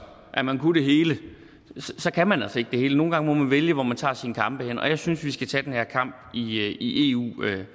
at man kunne det hele kan man altså ikke det hele nogle gange må man vælge hvor man tager sine kampe henne og jeg synes at vi skal tage den her kamp i eu